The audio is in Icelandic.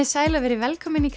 sæl og verið velkomin í